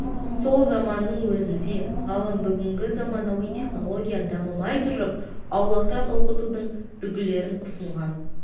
сол заманның өзінде ғалым бүгінгі заманауи технология дамымай тұрып аулақтан оқытудың үлгілерін ұсынған